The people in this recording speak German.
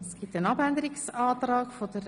Es gibt einen Abänderungsantrag von